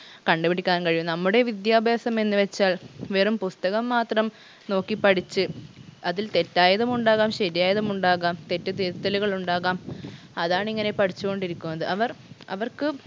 കണ്ടുപിടിക്കാൻ കഴിയും നമ്മുടെ വിദ്യാഭ്യാസം എന്ന് വെച്ചാൽ വെറും പുസ്തകം മാത്രം നോക്കി പഠിച്ച് അതിൽ തെറ്റായതുമുണ്ടാകാം ശരിയായതുമുണ്ടാകാം തെറ്റ് തിരുത്തലുകൾ ഉണ്ടാകാം അതാണിങ്ങനെ പഠിച്ച് കൊണ്ടിരിക്കുന്നത് അവർ അവർക്ക്